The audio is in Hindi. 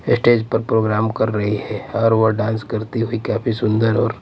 स्टेज पर प्रोग्राम कर रही है और वह डांस करती हुई काफी सुंदर और--